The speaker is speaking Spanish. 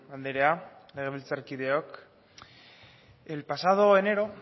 andrea legebiltzarkideok el pasado enero